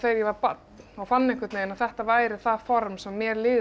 ég var barn fann að þetta væri það form sem mér liði